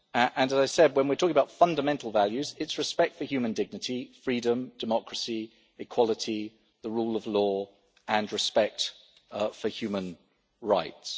As I said, when we talk about fundamental values, it is respect for human dignity, freedom, democracy, equality, the rule of law, and respect for human rights.